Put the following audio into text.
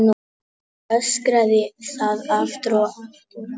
Öskraði það aftur og aftur.